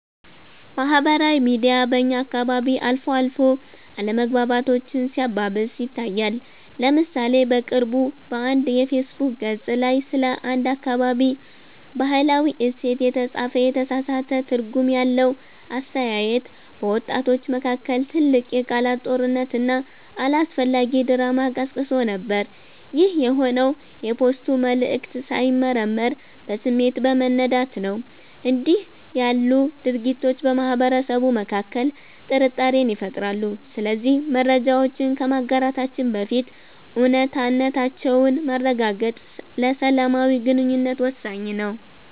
ማህበራዊ ሚዲያ በእኛ አካባቢ አልፎ አልፎ አለመግባባቶችን ሲያባብስ ይታያል። ለምሳሌ በቅርቡ በአንድ የፌስቡክ ገፅ ላይ ስለ አንድ አካባቢ "ባህላዊ እሴት" የተጻፈ የተሳሳተ ትርጉም ያለው አስተያየት፣ በወጣቶች መካከል ትልቅ የቃላት ጦርነትና አላስፈላጊ ድራማ ቀስቅሶ ነበር። ይህ የሆነው የፖስቱ መልዕክት ሳይመረመር በስሜት በመነዳት ነው። እንዲህ ያሉ ድርጊቶች በማህበረሰቡ መካከል ጥርጣሬን ይፈጥራሉ። ስለዚህ መረጃዎችን ከማጋራታችን በፊት እውነታነታቸውን ማረጋገጥ ለሰላማዊ ግንኙነት ወሳኝ ነው።